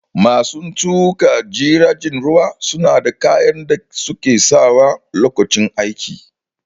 Masu tuƙa jiragen ruwa suna da kayan da suke sawa Lokacin aiki